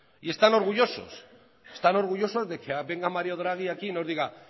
y están orgullosos están orgullosos de que venga mario draghi aquí y nos diga